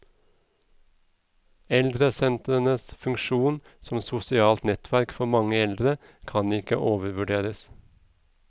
Eldresentrenes funksjon som sosialt nettverk for mange eldre kan ikke overvurderes.